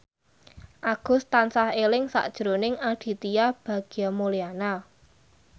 Agus tansah eling sakjroning Aditya Bagja Mulyana